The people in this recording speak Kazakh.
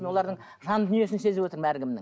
мен олардың жан дүниесін сезіп отырмын әркімнің